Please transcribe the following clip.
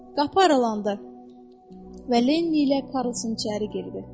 Qapı aralandı və Lenni ilə Karlson içəri girdi.